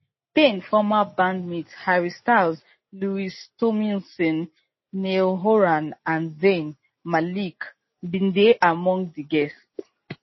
payne former bandmates harry styles louis tomlinson niall horan and zayn malik bin dey among di guests